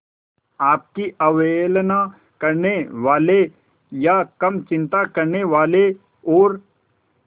आपकी अवहेलना करने वाले या कम चिंता करने वाले और